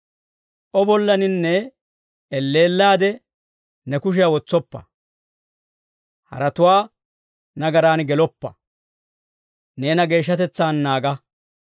O bollaaninne elleellaade ne kushiyaa wotsoppa. Haratuwaa nagaraan geloppa. Neena geeshshatetsaan naaga.